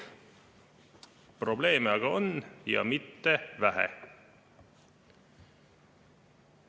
Probleeme aga on, ja mitte vähe.